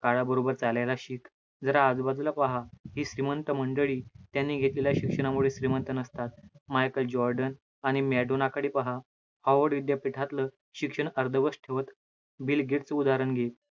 काळाबरोबर चालायला शिक, जरा आजूबाजूला पहा, ही श्रीमंत मंडळी त्यांनी घेतलेल्या शिक्षणामुळे श्रीमंत नसतात. मालकांची order आणि madonna कडे पहा, award विद्यापीठातलं शिक्षण अर्धवट ठेवतं, बिल गेट्सचं उदाहरण घे.